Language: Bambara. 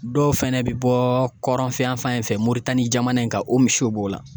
Dɔw fɛnɛ bi bɔ kɔrɔnfɛn yanfan in fɛ Moritani jamana in kan o misiw b'o la